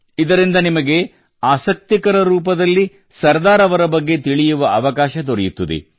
ಇದರಿಂದ ನಿಮಗೆ ಆಸಕ್ತಿಕರ ರೂಪದಲ್ಲಿ ಸರ್ದಾರ್ ಅವರ ಬಗ್ಗೆ ತಿಳಿಯುವ ಅವಕಾಶ ದೊರೆಯುತ್ತದೆ